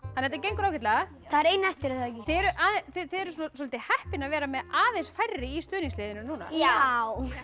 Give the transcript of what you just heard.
þetta gengur ágætlega það er ein eftir er það ekki þið eruð þið eruð svolítið heppin að vera með aðeins færri í stuðningsliðinu núna já